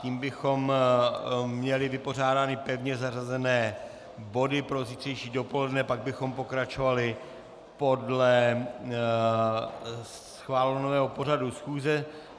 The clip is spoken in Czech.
Tím bychom měli vypořádány pevně zařazené body pro zítřejší dopoledne, pak bychom pokračovali podle schváleného pořadu schůze.